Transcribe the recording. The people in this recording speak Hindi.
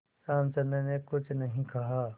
रामचंद्र ने कुछ नहीं कहा